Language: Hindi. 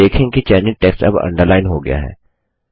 आप देखेंगे कि चयनित टेक्स्ट अब अंडरलाइन हो गया है